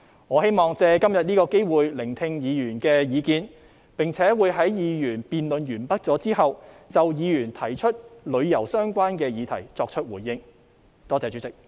我希望借今天這個機會聆聽議員的意見，並且在議案辯論結束後就議員提出與旅遊相關的議題作出回應。